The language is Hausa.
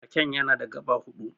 Raken yana da gaɓa hudu.